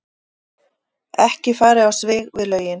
Ekki farið á svig við lögin